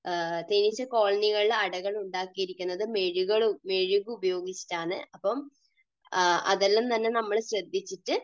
തേനീച്ച കോളനികളിൽ അടകൾ ഉണ്ടാക്കിയിരിക്കുന്നത് മെഴുക് ഉപയോഗിച്ചിട്ടാണ്. അപ്പോൾ അതെല്ലാം തന്നെ നമ്മൾ ശ്രദ്ധിച്ചിട്ട്